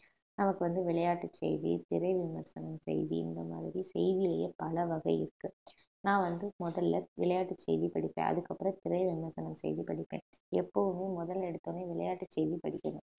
நமக்கு வந்து விளையாட்டு செய்தி திரை விமர்சனம் செய்தி இந்த மாதிரி செய்தியை பல வகை இருக்கு நான் வந்து முதல்ல விளையாட்டு செய்தி படிபிப்பேன் அதுக்கப்புறம் திரைவிமர்சனம் செய்தி படிப்பேன் எப்பவுமே முதல்ல எடுத்தவுடனே விளையாட்டு செய்தி படிக்கணும்